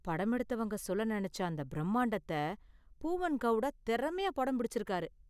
படம் எடுத்தவங்க சொல்ல நெனைச்ச அந்த பிரமாண்டத்த பூவன் கவுடா திறமையா படம் பிடிச்சிருக்காரு .